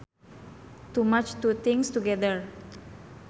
To match two things together